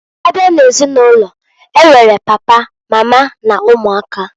Abịa n'ezinulo, e nwere papa, mama n'ụmụaka.